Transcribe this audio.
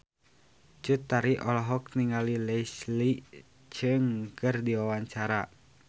Cut Tari olohok ningali Leslie Cheung keur diwawancara